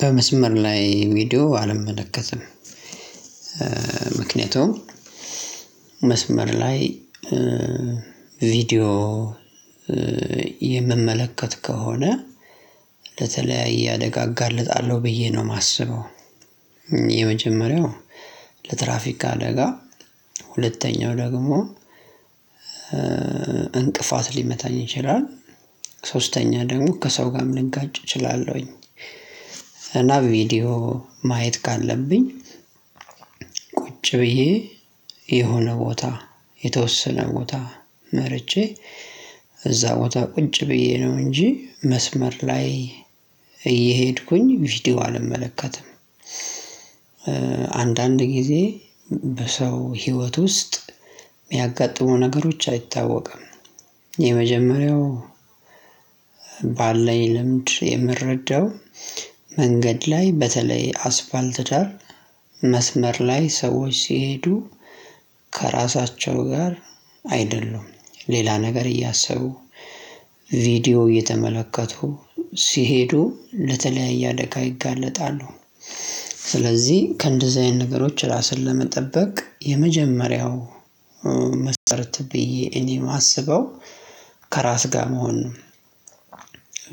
በመስመር ላይ ቪዲዮ አልመለከትም። ምክንያቱም መስመር ላይ ቪዲዮ የምመለከት ከሆነ ለተለያየ አደጋ እጋለጣለሁ ብዬ ነው የማስበው። የመጀመሪያው ለትራፊክ አደጋ ሁለተኛው ደግሞ እንቅፋት ሊመታኝ ይችላል ሶስተኛ ደግሞ ከሰው ጋርም ልንጋጭ እችላለሁኝ። እና በቪዲዮ ማየት ካለብኝ ቁጭ ብዬ የሆነ ቦታ የተወሰነ ቦታ መርጬ እዛ ቦታ ቁጭ ብዬ ነው እንጂ መስመር ላይ እየሄድኩኝ ቪዲዮ አልመለከትም። አንዳንድ ጊዜ በሰው ህይወት ውስጥ የሚያጋጥሙ ነገሮች አይታወቅም። የመጀመሪያው ባለኝ ልምድ የምረዳው መንገድ ላይ በተለይ አስፋልት ዳር መስመር ላይ ሰዎች ሲሄዱ ከራሳቸው ጋር አይደሉም ሌላ ነገር እያሰቡ ቪዲዮ እየተመለከቱ ሲሄዱ ለተለያየ አደጋ ይጋለጣሉ። ስለዚህ ከእንደዚህ አይነት ነገሮች ራስን ለመጠበቅ የመጀመሪያው መስረት ብዬ እኔ የማስበው ከራስ ጋር መሆን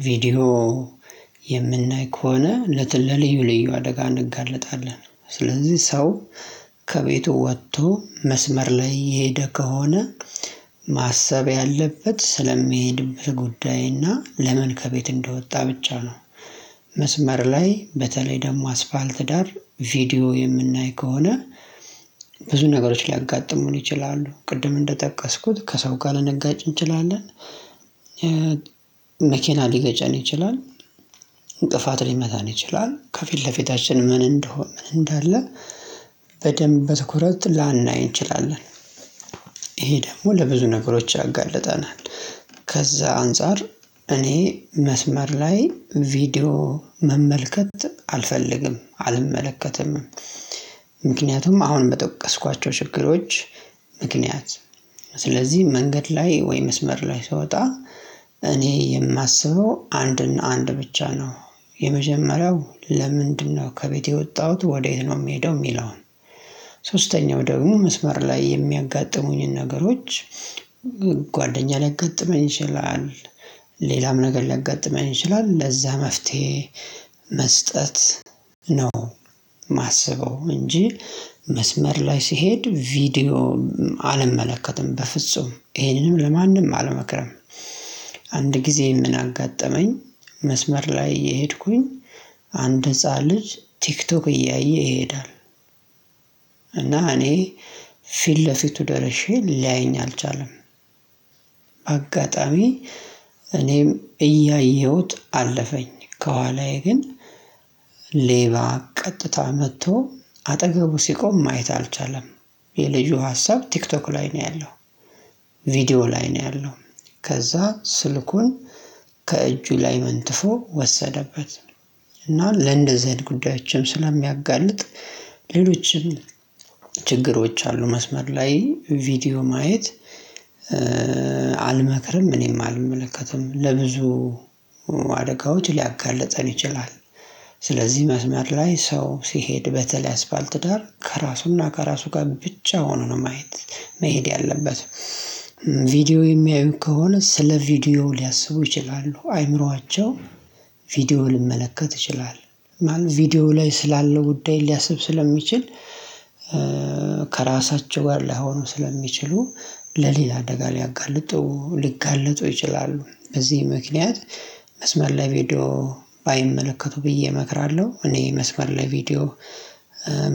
ቪዲዮ ከሆነ ለተለዩ አደጋ እንጋለጣለን። ስለዚህ ሰው ከቤቱ ወጥቶ መስመር ላይ የሄደ ከሆነ ማሰብ ያለበት ስለሚሄድበት ጉዳይ እና ለምን ከቤት እንደወጣ ብቻ ነው። መስመር ላይ በተለይ ደግሞ አስፋልት ዳር ቪዲዮ የምናይ ከሆነ ብዙ ነገሮች ሊያጋጥሙን ይችላሉ ቅድም እንደጠቀስኩት ከሰው ጋር ለነጋጭ እንችላለን። መኪና ሊገጨን ይችላል እንቅፋት ሊመታን ይችላል ከፊት ለፊታችን ምን እንደሆን ምን እንዳለ በደንብ በትኩረት ላናይ እንችላለን። ይሄ ደግሞ ለብዙ ነገሮች ያጋልጠናል ከዛ አንፃር እኔ መስመር ላይ ቪዲዮ መመልከት አልፈልግም አልመለከትም። ምክንያቱም አሁን በጠቀስኳቸው ችግሮች ምክንያት መንገድ ላይ ወይ መስመር ላይ ስወጣ እኔ የማስበው አንድና አንድ ብቻ ነው። የመጀመሪያው ለምንድነው ከቤቴ የወጣሁት ወዴት ነው የሚሄደው የሚለውን? ሶስተኛው ወደ መስመር ላይ የሚያጋጥሙኝን ነገሮች ጓደኛ ላይ ያጋጥመኝ ይችላል ሌላም ነገር ሊያጋጥመን ይችላል ለዛ መፍትሄ መስጠት ነው። ማሰበው እንጂ መስመር ላይ ስሄድ ቪዲዮ አልመለከትም በፍጹም ይህንንም ለማንም አልመክርም። አንድ ጊዜ ምን አጋጠመኝ መስመር ላይ እየሄድኩኝ አንድ ህፃን ልጅ ቲክቶክ እያየ ይሄዳል። እና እኔ ፊት ለፊቱ ደርሼ ሊያየኝ አልቻለም። በአጋጣሚ እኔም እያየሁት አለፈኝ ከኋላዬ ግን ሌባ ቀጥታ መጥቶ አጠገቡ ሲቆም ማየት አልቻለም። የልጁ ሀሳብ ቲክቶክ ላይ ነው ያለው ቪዲዮ ላይ ነው ያለው። ከዛ ስልኩን ከእጁ ላይ መንጥፎ ወሰደበት። እና ለእንደዚህ ጉዳዮችም ስለሚያጋልጥ ሌሎችም ችግሮች አሉ መስመር ላይ ቪዲዮ ማየት። አልመክርም እኔም አልመለከትም ለብዙ አደጋዎች ሊያጋልጠን ይችላል። ስለዚህ መስመር ላይ ሰው ሲሄድ በተለይ አስፋልት ዳር ከራሱና ከራሱ ጋር ብቻ ሆኖ ነው ማየት መሄድ ያለበት። ቪዲዮ የሚያዩት ከሆነ ስለ ቪዲዮ ሊያስቡ ይችላሉ አይምሮአቸው ቪዲዮ ሊመለከት ይችላል ማን ቪዲዮ ላይ ስላለው ጉዳይ ሊያስብ ስለሚችል። ጋር ላሆኑ ስለሚችሉ ለሌላ አደጋ ሊያጋልጡ ሊጋልጡ ይችላሉ። በዚህ ምክንያት መስመር ላይ ቪዲዮ ባይመለከቱ ብዬ እመክራለሁ። እኔ መስመር ላይ ቪዲዮ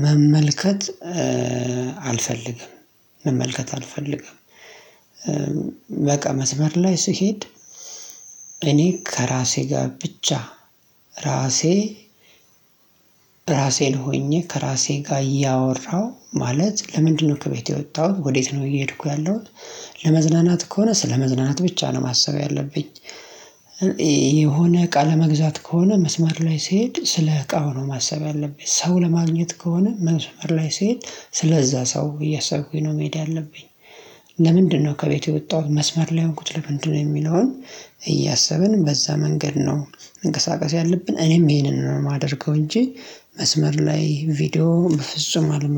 መመልከት አልፈልግም መመልከት አልፈልግም። በቃ መስመር ላይ ስሄድ እኔ ከራሴ ጋር ብቻ ራሴ ራሴን ሆኜ ከራሴ ጋር እያወራሁ ማለት ለምንድነው ከቤት የወጣሁት ወዴት ነው እየሄድኩ ያለሁት ለመዝናናት ከሆነ ስለመዝናናት ብቻ ነው ማሰብ ያለብኝ። የሆነ እቃ ለመግዛት ከሆነ መስመር ላይ ስሄድ ስለ እቃ ነው ማሰብ ያለብኝ ሰው ለማግኘት ከሆነ መስመር ላይ ስሄድ ስለዛ ሰው እያሰብኩኝ ነው መሄድ ያለብኝ። ለምንድነው ከቤቴ የወጣሁት መስመር ላይ የሆንኩት ለምንድነው የሚለውን? እያሰብን በዛ መንገድ ነው መንቀሳቀስ ያለብን እኔም ይሄንን ነው የማደርገው እንጂ መስመር ላይ ቪዲዮ በፍጹም አልመክርም